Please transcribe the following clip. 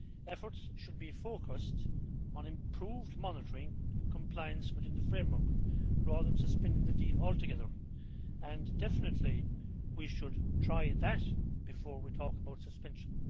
Efforts should be focused on improved monitoring of compliance within the framework, rather than suspending the deal altogether and definitely we should try that before we talk about suspension.